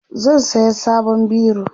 zan saya sabon biro